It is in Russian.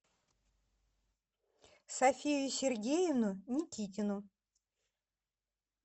софию сергеевну никитину